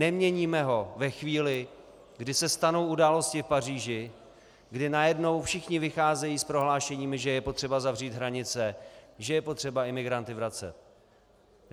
Neměníme ho ve chvíli, kdy se stanou události v Paříži, kdy najednou všichni vycházejí s prohlášeními, že je potřeba zavřít hranice, že je potřeba imigranty vracet.